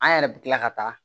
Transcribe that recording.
An yɛrɛ bɛ tila ka taa